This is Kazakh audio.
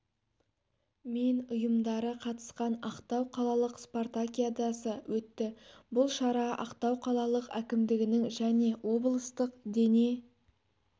мен ұйымдары қатысқан ақтау қалалық спортакиадасы өтті бұл шара ақтау қалалық әкімдігінің және облыстық дене